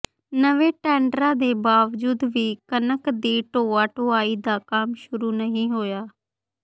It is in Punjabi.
ਨਵੇਂ ਟੈਂਡਰਾਂ ਦੇ ਬਾਵਜੂਦ ਵੀ ਕਣਕ ਦੀ ਢੋਆ ਢੁਆਈ ਦਾ ਕੰਮ ਸ਼ੁਰੂ ਨਹੀਂ ਹੋਇਆ